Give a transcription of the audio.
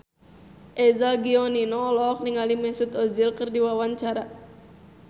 Eza Gionino olohok ningali Mesut Ozil keur diwawancara